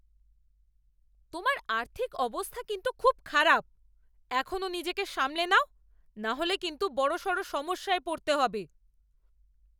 তোমার আর্থিক অবস্থা কিন্তু খুব খারাপ! এখনও নিজেকে সামলে নাও, নাহলে কিন্তু বড়সড় সমস্যায় পড়তে হবে।